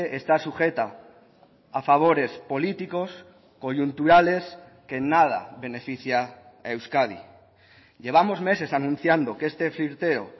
está sujeta a favores políticos coyunturales que en nada beneficia a euskadi llevamos meses anunciando que este flirteo